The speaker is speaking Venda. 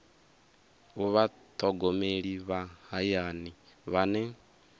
u vhathogomeli vha hayani vhane